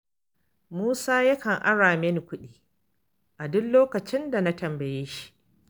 Musa yakan ara mini kuɗi a duk lokacin da na tambaye shi.